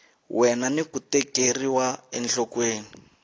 wena ni ku tekeriwa enhlokweni